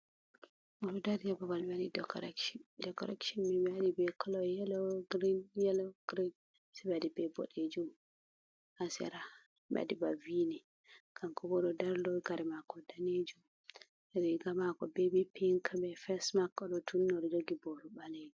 Oɗo ɗari ha babal ɓe waɗi dekorekcon, Dekorekconi ɓe waɗi kolo Yelo, girin yelo, girin, Se ɓe waɗi be Boɗejum ha Sera ɓe waɗi ba v ni, Kankobo oɗo ɗari'on Kare mako Danejum, riga mako Veri Pink be fesmak, oɗo tunni oɗi Jogi boru ɓalejum.